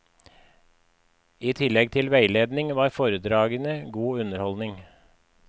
I tillegg til veiledning var foredragene god underholdning.